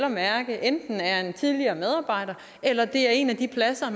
at mærke enten er en tidligere medarbejder eller det er en af de pladser